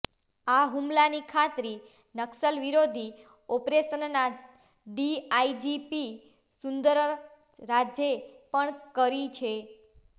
આ હુમલાની ખાતરી નક્સલ વિરોધી ઓપરેશનના ડીઆઈજી પી સુંદરરાજે પણ કરી છે